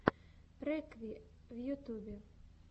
рекви в ютьюбе